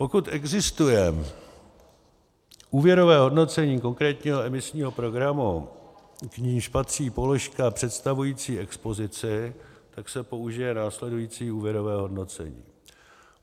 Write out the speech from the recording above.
Pokud existuje úvěrové hodnocení konkrétního emisního programu, k níž patří položka představující expozici, tak se použije následující úvěrové hodnocení.